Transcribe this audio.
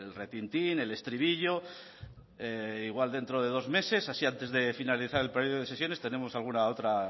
retintín el estribillo igual dentro de dos meses así antes de finalizar el periodo de sesiones tenemos alguna otra